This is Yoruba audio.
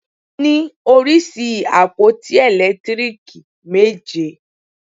A ní oríṣi àpótí ẹ̀lẹ́tíríìkì méje.